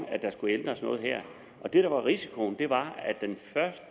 at der skulle ændres noget her og det der var risikoen var at den første